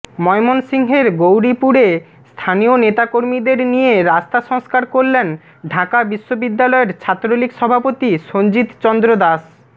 ময়মনসিংহের গৌরীপুরে স্থানীয় নেতাকর্মীদের নিয়ে রাস্তা সংস্কার করলেন ঢাকা বিশ্ববিদ্যালয়ের ছাত্রলীগ সভাপতি সঞ্জিত চন্দ্র দাস